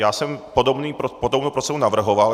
Já jsem podobnou proceduru navrhoval.